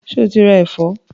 Ṣé o ra ẹ̀fọ́?